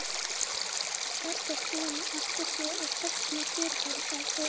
Lesandinn er sjálfsagt búinn að átta sig á hvers konar fyrirbæri það er.